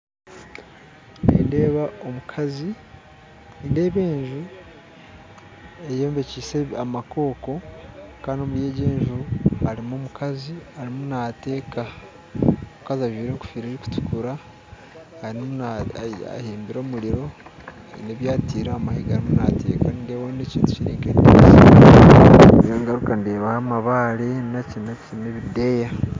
Nindeeba omukazi nindeeba enju eyombekyise amakooko kandi omuri egyo enju harumu omukazi arumu nateeka omukazi ajwaire engoffira erukutukura arumu ahembire omuriro aine ebyateire ahamahega arumu nateeka nendebaho n'ekintu ngaruka ndebaho amabaare nakyi nakyi n'ebideya.